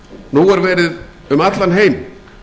nú er verið um allan heim